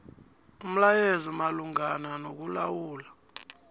umlayo malungana nokulawula